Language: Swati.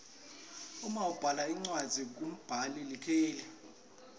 uma ubhala incwadzi kumbhula likheli